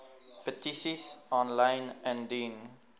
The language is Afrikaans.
petisies aanlyn indien